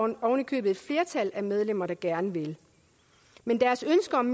der ovenikøbet et flertal af medlemmer der gerne vil det men deres ønske om